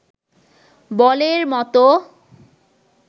বলের মতো